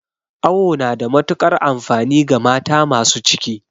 Awo na da matukar amfani ga mata masu ciki